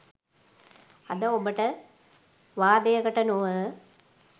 අද ඔබට වාදයකට නොව